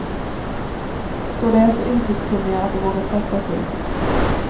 Då de är så yrkeskunniga att de vågar kasta sig ut.